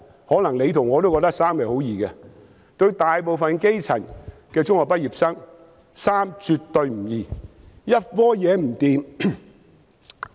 可能我與局長都覺得十分容易，但對大部分基層中學畢業生來說，卻絕不容易。